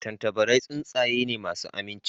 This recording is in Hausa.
Tattabarai tsuntsaye ne masu aminci